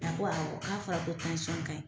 A ko awɔ k'a fɔra ko tansɔn ka ɲi.